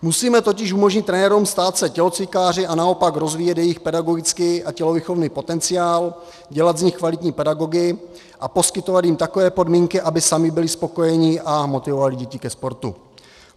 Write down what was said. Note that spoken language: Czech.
Musíme totiž umožnit trenérům stát se tělocvikáři a naopak rozvíjet jejich pedagogický a tělovýchovný potenciál, dělat z nich kvalitní pedagogy a poskytovat jim takové podmínky, aby sami byli spokojeni a motivovali děti ke sportu.